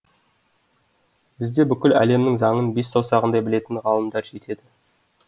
бізде бүкіл әлемнің заңын бес саусағындай білетін ғалымдар жетеді